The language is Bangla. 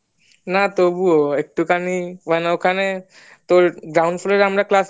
না তবুও একটু খানি মানে ওখানে তোর ground floor এর আমরা কাজ